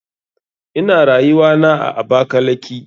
Ina rayuwana a abakalaki.